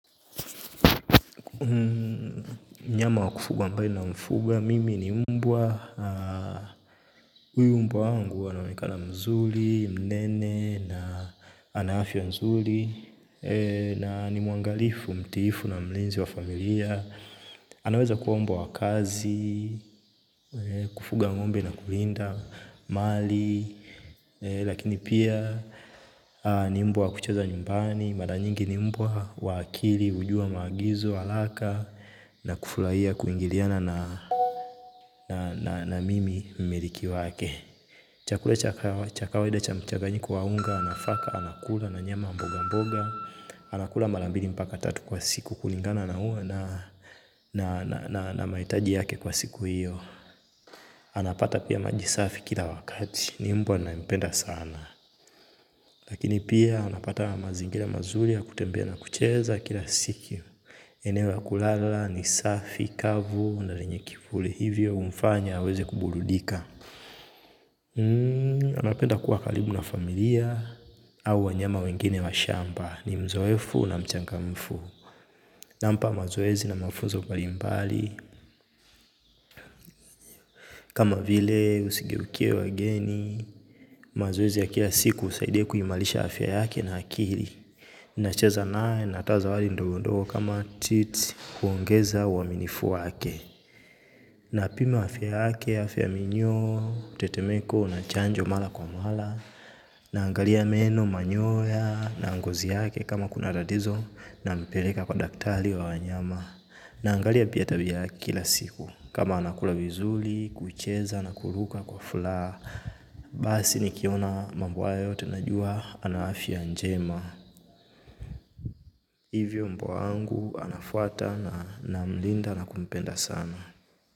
Nyama wa kufuga ambayo ina mfupa, mimi ni mbwa, huyu mbwa wangu anaonekana mzuri, mnene na ana afya wa mzuri. Na ni mwangalifu, mtiifu na mlinzi wa familia, anaweza kuwa mbwa wa kazi, kufuga ngombe na kulinda mali. Lakini pia ni mbwa wa kucheza nyumbani. Mara nyingi ni mbwa wa akili hujua maagizo haraka. Na kufurahia kuingiliana na mimi mmeliki wake. Chakula chakawa cha kwawaida cha mchaganyiko wa unga. Anafaa anakula na nyama wa mboga mboga. Anakula mara mbili mpaka tatu kwa siku kulingana na huo. Na mahitaji yake kwa siku hiyo anapata pia maji safi kila wakati. Ni mbwa na mpenda sana. Lakini pia anapatana na mazingira mazuri ya kutembea na kucheza kila siku. Eneo ya kulala ni safi kavu na lenye kivuli hivyo humfanya aweze kuburudika. Anapenda kuwa karbu na familia au wanyama wengine wa shamba ni mzoefu na mchangamfu. Nampa mazoezi na mafuzo mbalimbali. Kama vile usigeukie wageni. Mazoezi ya kila siku husaidia kuhimarisha afya yake na akili. Nacheza naye na ata maswala ndogondoo kama teeth huongeza uaminifu wake. Na pima afya yake afya ya minyoo, tetemeko na chanjo mara kwa mara. Naangalia meno, manyoya na ngozi yake kama kuna tatizo nampeleka kwa daktari wa wanyama. Naangalia pia tabia ya kila siku kama anakula vizuri, kucheza na kuruka kwa furaha. Basi nikiona mambo haya yote najua ana afya njema hivyo mbwa wangu anafuata na namlinda na kumpenda sana.